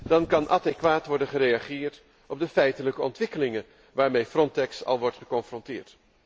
Dan kan adequaat worden gereageerd op de feitelijke ontwikkelingen waarmee Frontex al wordt geconfronteerd.